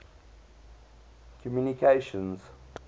communications